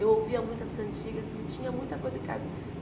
Eu ouvia muitas cantigas e tinha muita coisa em casa.